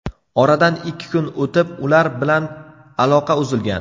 Oradan ikki kun o‘tib, ular bilan aloqa uzilgan.